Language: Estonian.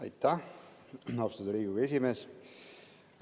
Aitäh, austatud Riigikogu esimees!